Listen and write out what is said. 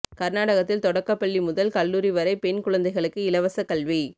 கர்நாடகத்தில் தொடக்கப்பள்ளி முதல் கல்லூரி வரை பெண் குழந்தைகளுக்கு இலவச கல்வி